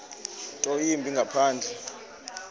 nto yimbi ngaphandle